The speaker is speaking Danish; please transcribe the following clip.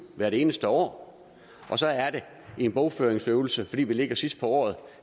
hvert eneste år og så er det en bogføringsøvelse fordi vi ligger sidst på året